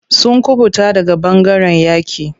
Sun kuɓuta daga ɓangaren yaƙi.